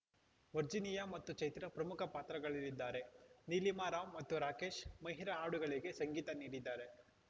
Virginia ಮತ್ತು ಚೈತ್ರಾ ಪ್ರಮುಖ ಪಾತ್ರಗಳಲ್ಲಿದ್ದಾರೆ ನೀಲಿಮಾ ರಾವ್‌ ಮತ್ತು ರಾಕೇಶ್‌ ಮಹಿರ ಹಾಡುಗಳಿಗೆ ಸಂಗೀತ ನೀಡಿದ್ದಾರೆ